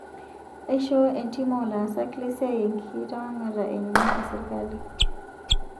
Eishoo entiim oo laasak lesia enkitawang'ata enye sirkali